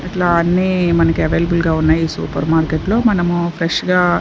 ఇట్లా అన్ని మనకు ఆవలిబిల్ గా ఉన్నాయి సూపర్ మార్కెట్ లో మనము ఫ్రెష్ గా.